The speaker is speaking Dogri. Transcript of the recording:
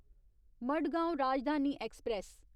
मडगांव राजधानी ऐक्सप्रैस